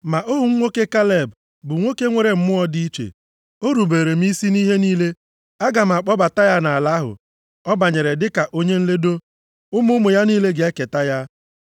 Ma ohu m nwoke Kaleb bụ nwoke nwere mmụọ dị iche. O rubeere m isi nʼihe niile. Aga m akpọbata ya nʼala ahụ ọ banyere dịka onye nledo. Ụmụ ụmụ ya niile ga-eketa ya.